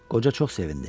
Qoca çox sevindi.